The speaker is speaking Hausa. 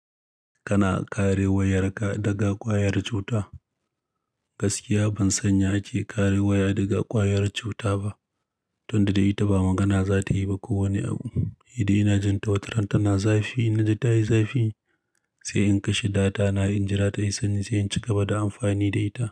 Kana kare wayarka daga ƙwayar cuta? Gaskiya ban sanya ake kare waya daga ƙwayar cuta ba, tunda da ita ba magana za ta yi ba kowane abu. Idan ina jin tawataranta na zafi, ina ji ta yi zafi sai in kashe data na, in jira tayi sanyi sai in cigaba da amfani da ita.